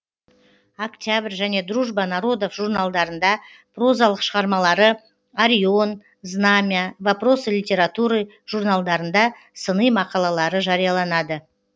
октябрь және дружба народов журналдарында прозалық шығармалары арион знамя вопросы литературы журналдарында сыни мақалалары жарияланады